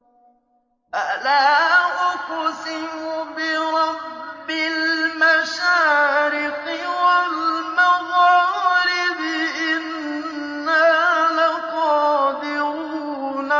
فَلَا أُقْسِمُ بِرَبِّ الْمَشَارِقِ وَالْمَغَارِبِ إِنَّا لَقَادِرُونَ